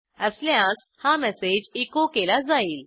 असल्यास हा message echo केला जाईल